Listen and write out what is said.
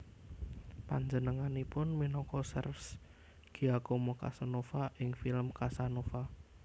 Panjenenganipun minangka serves Giacomo Casanova ing film Casanova